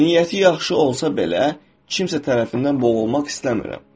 Niyyəti yaxşı olsa belə, kimsə tərəfindən boğulmaq istəmirəm.